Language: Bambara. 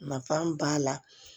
Nafa b'a la